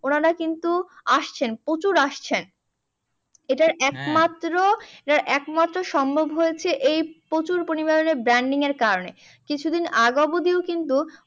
উনারা কিন্তু আসছেন প্রচুর আসছেন। এইটার একমাত্ৰ এইটার একমাত্র সম্ভব হয়েছে, এই প্রচুর পরিমাণে branding এর কারণে। কিছুদিন আগ অবধিও কিন্তু